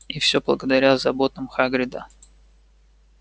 и всё благодаря заботам хагрида